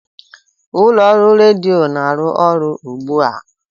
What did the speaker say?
ụlọ ọrụ redio na-arụ ọrụ ugbu a?